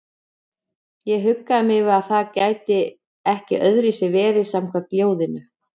Ég huggaði mig við að það gæti ekki öðruvísi verið samkvæmt ljóðinu.